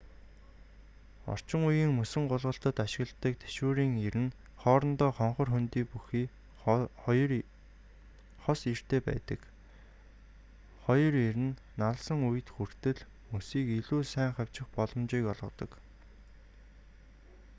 орчин үеийн мөсөн гулгалтад ашигладаг тэшүүрийн ир нь хоорондоо хонхор хөндий бүхий хос иртэй байдаг хоёр ир нь налсан үед хүртэл мөсийг илүү сайн хавчих боломжийг олгодог